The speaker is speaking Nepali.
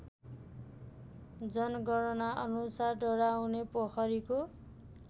जनगणनाअनुसार डराउनेपोखरीको